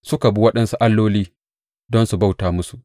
Suka bi waɗansu alloli don su bauta musu.